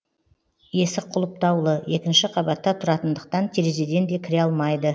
есік құлыптаулы екінші қабатта тұратындықтан терезеден де кіре алмайды